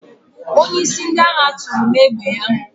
Onyeisi ndị agha tụrụ m égbè ya.